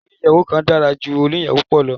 Ilé oníyàwò kan dára ju oníyàwò púpọ̀ lọ.